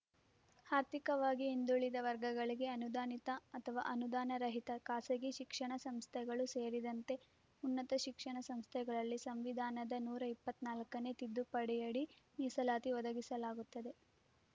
ಆರ್ಥಿಕವಾಗಿ ಹಿಂದುಳಿದ ವರ್ಗಗಳಿಗೆ ಅನುದಾನಿತ ಅಥವಾ ಅನುದಾನರಹಿತ ಖಾಸಗಿ ಶಿಕ್ಷಣ ಸಂಸ್ಥೆಗಳು ಸೇರಿದಂತೆ ಉನ್ನತ ಶಿಕ್ಷಣ ಸಂಸ್ಥೆಗಳಲ್ಲಿ ಸಂವಿಧಾನದ ನೂರ ಇಪ್ಪತ್ತ್ ನಾಲ್ಕನೇ ತಿದ್ದುಪಡಿಯಡಿ ಮೀಸಲಾತಿ ಒದಗಿಸಲಾಗುತ್ತದೆ